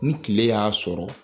Ni kile y'a sɔrɔ